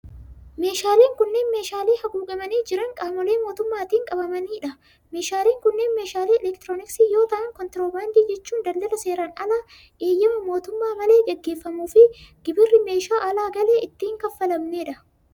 Meeshaaleen kunneen, meeshaalee haguugamanii jiran qaamolee mootummaatin qabamanii dha. Meeshaaleen kunneen meeshaalee elektirooniksii yoo ta'an, kontiroobaandii jechuun daldala seeran alaa eeyyama mootummaa malee gaggeeffamuu fi gibirri meeshaa alaa galee itti hin kaffalamnee dha.